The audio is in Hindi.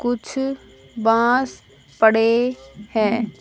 कुछ बांस पड़े हैं।